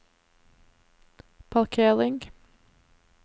parkering